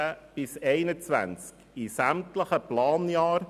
2019–2021 in sämtlichen Planjahren